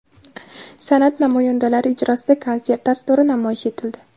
San’at namoyandalari ijrosida konsert dasturi namoyish etildi.